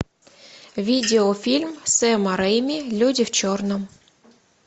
видеофильм сэма рэйми люди в черном